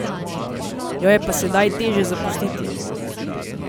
Jo je pa sedaj težje zapustiti.